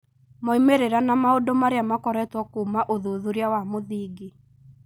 Moimĩrĩra na maũndũ marĩa makoretwo kuuma ũthuthuria wa mũthingi.